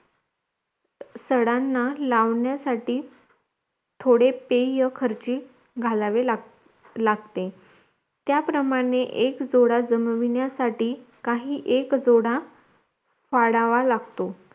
सडांना लावण्यासाठी थोडे पाय खर्ची घालावे लाग लागते त्या प्रमाणे एक जोडा जमवण्यासाठी काही एक जोडा फाडावा लागतो